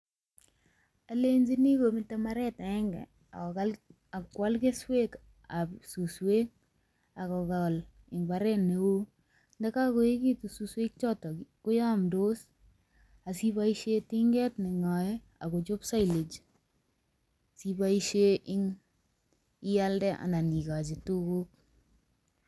Olenjini kometo mbaret agenge akoal keswekab suswek agokol en mbaret neo. Ye kagoegitu suswechoton koyomdos asiiboisien tinget ne ng'oe agochob silage siiboishen ialde anan igochi tuguk.